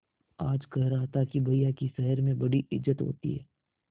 आज कह रहा था कि भैया की शहर में बड़ी इज्जत होती हैं